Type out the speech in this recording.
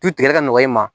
Du tigɛ ka nɔgɔn i ma